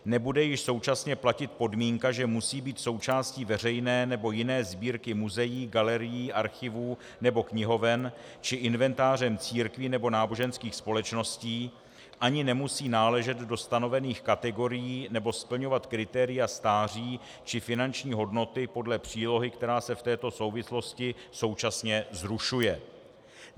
Nebude již současně platit podmínka, že musí být součástí veřejné nebo jiné sbírky muzeí, galerií, archivů nebo knihoven či inventářem církví nebo náboženských společností, ani nemusí náležet do stanovených kategorií nebo splňovat kritéria stáří či finanční hodnoty podle přílohy, která se v této souvislosti současně zrušuje.